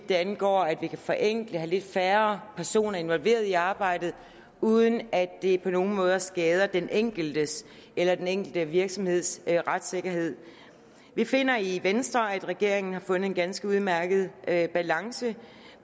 vidt angår at forenkle og have lidt færre personer involveret i arbejdet uden at det på nogen måde skader den enkeltes eller den enkelte virksomheds retssikkerhed vi finder i venstre at regeringen har fundet en ganske udmærket balance